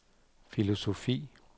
filosofi